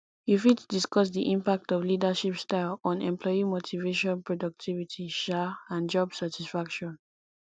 you fit discuss di impact of leadership style on employee motivation productivity um and job satisfaction